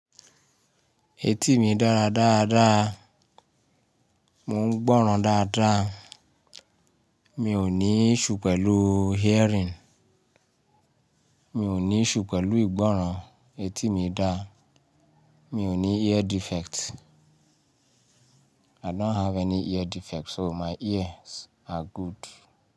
Etí mi dára dáadáa, mo ń gbọ́ràn dáadáa, mi ò ní iṣsue pẹ̀lú hearing, mi ò ní iṣsue pẹ̀lú ìgbọ́ràn, etí mi dáa, mi ò ní ear defect. I don't have any ear defect so my ears are good.